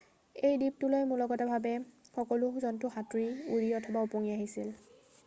এই দ্বীপটোলৈ মূলগতভাৱে সকলো জন্তু সাঁতুৰি উৰি অথবা ওপঙি আহিছিল